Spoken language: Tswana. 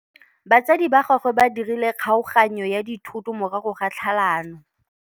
Batsadi ba gagwe ba dirile kgaoganyô ya dithoto morago ga tlhalanô.